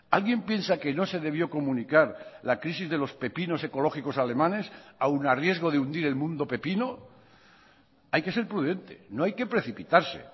alguien piensa que no se debió comunicar la crisis de los pepinos ecológicos alemanes aun a riesgo de hundir el mundo pepino hay que ser prudente no hay que precipitarse